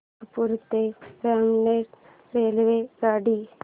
नागपूर ते रामटेक रेल्वेगाडी